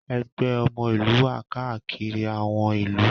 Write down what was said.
Ẹgbẹ́ ọmọ ìlú wà káàkiri àwọn ìlú